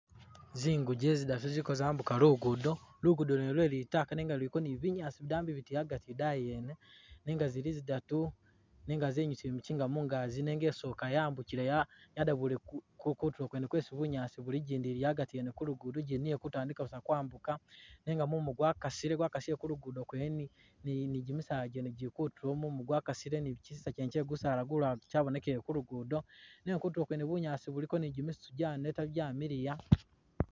Zinguje zidatu ziliko zambuja luguudo, luguudo lwene lwe litaaka nenga luliko ni binyaasi bidambi biti agati idayi yene nenga zili zidatu nenga zenyusile mikinga mungaki nenga isooka yambukile ya yada ku kuli kutulo kwene kwesi bunyaasi buli ijindi ili agati ene ijindi ili kutandika busa kwambuka nenga mumu gwakasile, gwakasile ku luguudo kwene ni ni gimisaala gyene gili kutulo mumu gwakasile ni kisisa kyene kye gusaala gulala kyabonekele ku luguudo, nenga kutulo kwene bunyaasi buliko ni gisitu gyaneta gyamiliya.